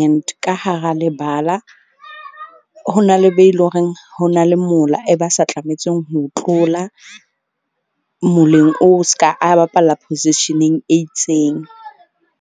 and ka hara lebala, ho na le be leng horeng ho na le mola e ba sa tlametseng ho tlola, moleng o ska a bapalla position-eng e itseng.